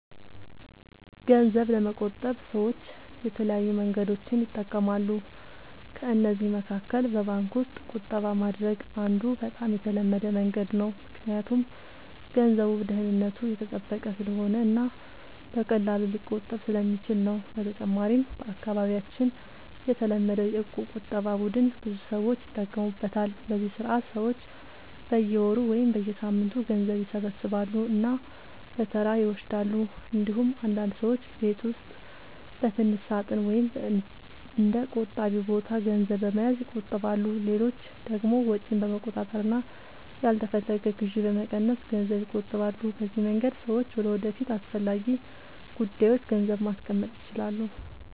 ገንዘብ ለመቆጠብ ሰዎች የተለያዩ መንገዶችን ይጠቀማሉ። ከእነዚህ መካከል በባንክ ውስጥ ቁጠባ ማድረግ አንዱ በጣም የተለመደ መንገድ ነው፣ ምክንያቱም ገንዘቡ ደህንነቱ የተጠበቀ ስለሆነ እና በቀላሉ ሊቆጠብ ስለሚችል ነው። በተጨማሪም በአካባቢያችን የተለመደው የእቁብ ቁጠባ ቡድን ብዙ ሰዎች ይጠቀሙበታል፤ በዚህ ስርዓት ሰዎች በየወሩ ወይም በየሳምንቱ ገንዘብ ይሰበስባሉ እና በተራ ይወስዳሉ። እንዲሁም አንዳንድ ሰዎች በቤት ውስጥ በትንሽ ሳጥን ወይም በእንደ “ቆጣቢ ቦታ” ገንዘብ በመያዝ ይቆጥባሉ። ሌሎች ደግሞ ወጪን በመቆጣጠር እና ያልተፈለገ ግዢ በመቀነስ ገንዘብ ይቆጥባሉ። በዚህ መንገድ ሰዎች ለወደፊት አስፈላጊ ጉዳዮች ገንዘብ ማስቀመጥ ይችላሉ።